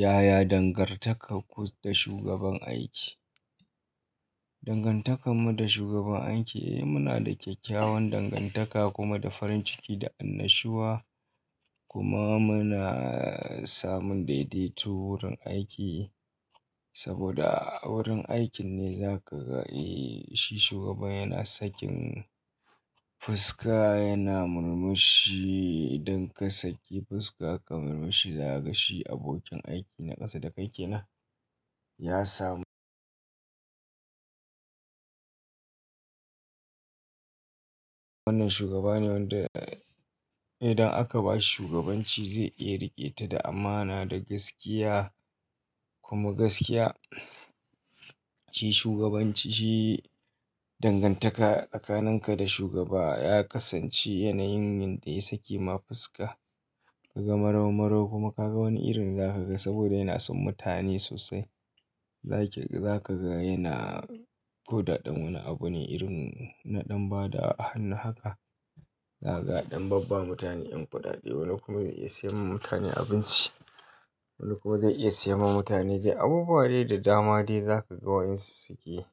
Yaya dangantaka ku da shugaban aiki? Dangantakar mu da shugaban aiki muna da kyakkyawan dangantaka kuma da farin ciki da annashuwa kuma muna samun daidaitu wurin aiki saboda a wurin aikin ne za ka ga shi shugaban yana sakin fuska yana murmushi idan ka saki fuska ka murmushi za ka ga shi abokin aiki na ƙasa da kai ke nan ya samu. Wannan shugaba ne wanda idan aka ba shi shugabanci zai iya riƙe ta da amana da gaskiya kuma gaskiya. Shi shugabanci shi dangantaka tsakanin ka da shugaba ya kasance yanayin yanda ya sake ma fuska ka ga marau-marau kuma ka ga wani irin za ka ga saboda yana son mutane sosai. Za ki-- za ka ga yana guda ɗan wani abu ne irin na ɗan ba da hannu haka, za ka ga ɗan babba mutane yan kudade wani kuma zai iya siya ma mutane abinci wani kuma zai iya siya ma mutane dai abubuwa dai da dama dai za ka ga wa in su suke.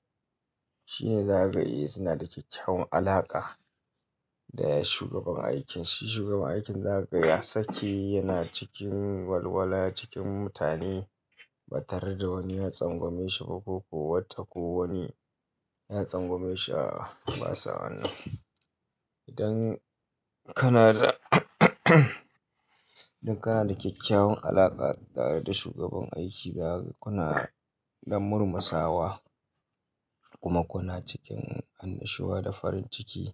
Shi ne za ka ga suna da kyakkyawan alaƙa da shugaban aikin. Shi shugaban aikin za ka ga ya sake yana cikin walwala cikin mutane ba tare da wani ya tsangwameshi ba ko ko wata ko wani ya tsangwameshi aa basa wanan idan kana da idan kana da kyakkyawan alaƙa da shugaban aiki za ku na ɗan murmusa wa kuma ku na cikin annashuwa da farin ciki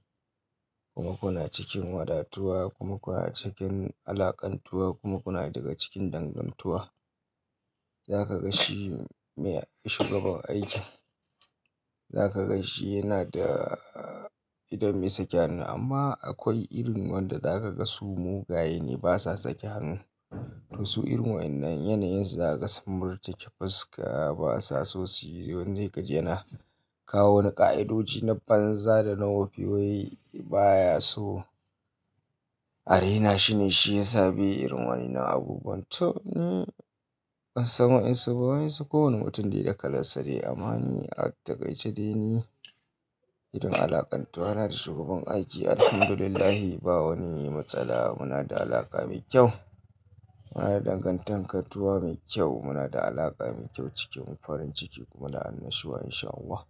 kuma ku na cikin wadatuwa kuma ku na cikin alaƙantuwa kuma ku na daga cikin dangantuwa. Za ka ga shi shugaban aiki za ka ga shi yana da idan bai sake hannu amma akwai irin wanda za ka ga su mugaye ne ba sa sake hannu. Wasu irin wa'inan yanayin za ka samur tike fuska ba sa so suyi wani sai kaji yana kawo wani ƙa'idodi na banza da na wofi wai baya so. Arena shine shi yasa bai irin wani na abubuwan tu in bansan wainsu ba, wainsu kowane mutum dai da kalan sa dai amani a takaice dai ni. Idan alaƙantuwa na da shugaban aiki Alhamdulillah ba wani matsala muna da alaƙa mai kyau. Muna da dangantakar tuwa mai kyau muna da alaƙa mai kyau cikinmu farin ciki kuma da annashuwa insha Allah.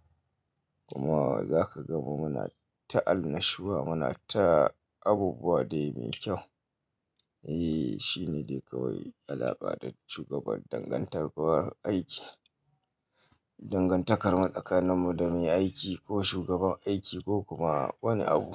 Kuma za ka ga mu muna ta annashuwa muna ta abubuwa dai mai kyau. Eh shine dai kawai alaƙa da shugaban dangantar aiki. Dangantakar mu tsakanin mu da mai aiki ko shugaban aiki ko kuma wani abu.